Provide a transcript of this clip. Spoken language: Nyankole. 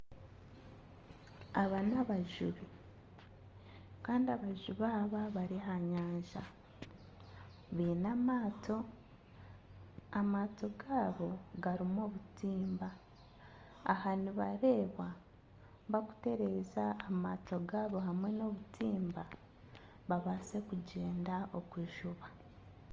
Aba nibajubi kandi abajubi aba bari aha nyanja baine amaato, amaato gaabo garimu obutimba, aha nibareebwa bakuteereza amaato gaabo hamwe n'obutimba babase kugyenda kujuba